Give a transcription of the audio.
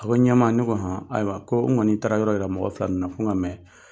A ko ɲama, ne ko han, ayiwa ko ne kɔni taara yɔrɔ o yɔrɔ, mɔgɔ fila na na n ka mɛn